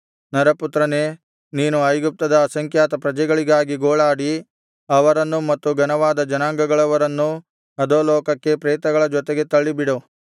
ನರಪುತ್ರನೇ ನೀನು ಐಗುಪ್ತದ ಅಸಂಖ್ಯಾತ ಪ್ರಜೆಗಾಗಿ ಗೋಳಾಡಿ ಅವರನ್ನೂ ಮತ್ತು ಘನವಾದ ಜನಾಂಗಗಳವರನ್ನೂ ಅಧೋಲೋಕಕ್ಕೆ ಪ್ರೇತಗಳ ಜೊತೆಗೆ ತಳ್ಳಿಬಿಡು